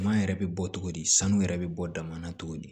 Ɲama yɛrɛ bɛ bɔ cogo di sanu yɛrɛ bɛ bɔ dama na cogo di